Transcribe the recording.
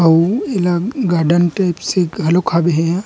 अऊ एला गार्डन के से घलोक हावे एहा--